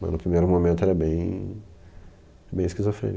Mas no primeiro momento era bem bem esquizofrênico.